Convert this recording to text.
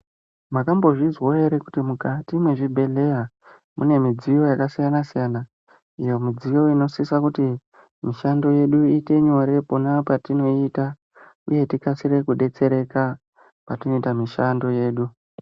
Mwakambozvizwawo ere kuti mukati mwezvibhedhleya mune midziyo yakasiyana siyana iyo midziyo inosisa kuti mishando yedu iite nyore pona patinoiita uye tikasire kudetsereka patinoita muihando yedu.